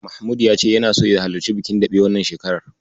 Mahmud ya ce yana so ya halarci bikin daɓe wannan shekarar.